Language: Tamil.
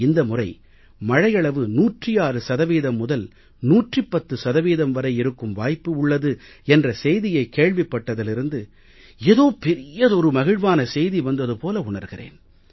இந்த முறை மழையளவு 106 சதவீதம் முதல் 110 சதவீதம் வரை இருக்கும் வாய்ப்பு உள்ளது என்ற செய்தியை கேள்விப்பட்டதிலிருந்து ஏதோ பெரியதொரு மகிழ்வான செய்தி வந்தது போல உணர்கிறேன்